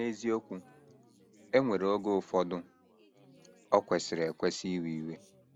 N’eziokwu, e nwere oge ụfọdụ o kwesịrị ekwesị iwe iwe.